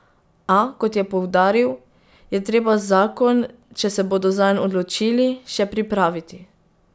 A, kot je poudaril, je treba zakon, če se bodo zanj odločili, še pripraviti.